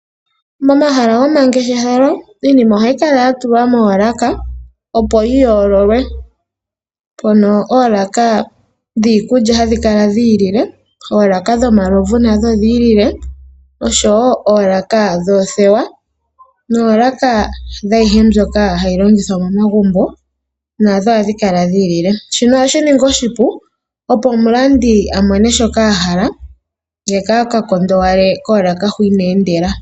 Momahala gomangeshefelo, iinima ohayi kala ya tulwa moolaka opo yi yoololwe. Oolaka dhiikulya ohadhi kala dhi ilile, dho dhomalovu nadhonodhi ilile osho wo oolaka dhoothewa naayihe mbyoka hayi longithwa momagumbo nandho ohadhi kala dhi ilile. Shino oha shi ningi oshipu opo omulandi a mone shoka a hala, ka ka kondowale koolaka hu ina endela.